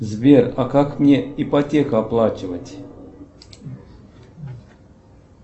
сбер а как мне ипотеку оплачивать